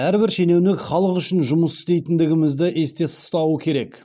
әрбір шенеунік халық үшін жұмыс істейтіндігімізді есте ұстауы керек